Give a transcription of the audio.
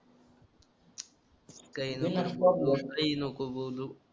काही नको बोलू